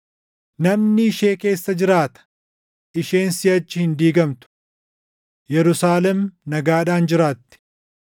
Namni ishee keessa jiraata; isheen siʼachi hin diigamtu. Yerusaalem nagaadhaan jiraatti.